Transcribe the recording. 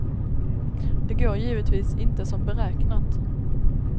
Det går givetvis inte som beräknat.